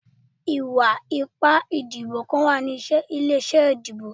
Iwa-ipa idibo kan wa ni ile-iṣẹ idibo